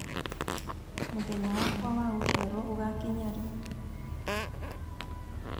mũthenya wakwa wa gũciarwo ũgakinya rĩ